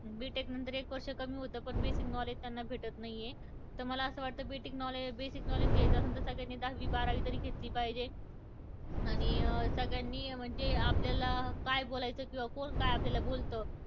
B tech नंतर एक वर्ष कमी होतं पण basic knowledge त्यांना भेटत नाहीय. तर मला असं वाटतं की B tech knowledge basic knowledge घ्यायचं आसंन तर सगळ्यांनी दहावी-बारावी तरी घेतली पाहिजे. आणि सगळ्यांनी म्हणजे आपल्याला काय बोलायचंय किंवा कोण काय आपल्याला बोलतं,